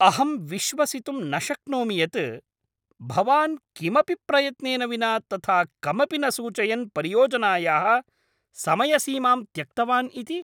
अहं विश्वसितुं न शक्नोमि यत् भवान् किमपि प्रयत्नेन विना तथा कमपि न सूचयन् परियोजनायाः समयसीमां त्यक्तवान् इति।